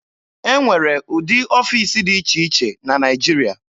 E nwere ụdị ọfiisi dị iche iche na Naịjirịa.